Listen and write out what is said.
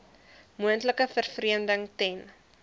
moontlike vervreemding ten